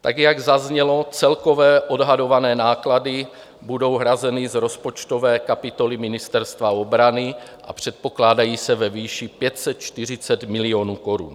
Tak jak zaznělo, celkové odhadované náklady budou hrazeny z rozpočtové kapitoly Ministerstva obrany a předpokládají se ve výši 540 milionů korun.